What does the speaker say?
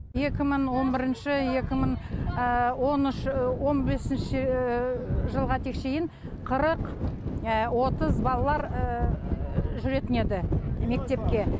екі мың он бірінші екі мың он үш он бесінші жылға тек шейін қырық отыз балалар жүретін еді мектепке